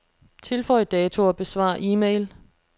Tilføj dato og besvar e-mail.